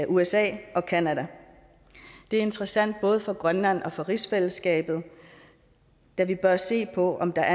usa og canada det er interessant både for grønland og for rigsfællesskabet da vi bør se på om der